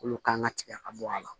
Olu kan ka tigɛ ka bɔ a la